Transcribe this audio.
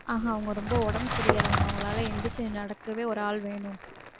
ஆஹ் அவங்க ரொம்ப உடம்பு சரியில்லாதவங்க அவங்களால எந்திரிச்சு நடக்கவே ஒரு ஆள் வேணும்